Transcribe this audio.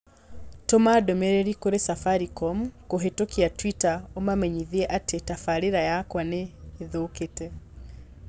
Tũma ndũmĩrĩri kũrĩ Safaricom kũhĩtukĩra tweeter ũmamenyithie atĩ tabarīra yakwa nĩ ĩthũkite.